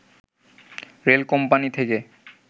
rail company থেকে